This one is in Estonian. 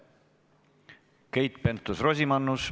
Keit Pentus-Rosimannus.